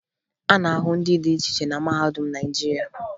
A na-ahụ ndị dị iche iche na mahadum Naịjirịa